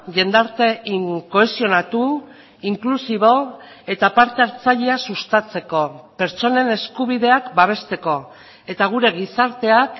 jendarte kohesionatu inklusibo eta parte hartzailea sustatzeko pertsonen eskubideak babesteko eta gure gizarteak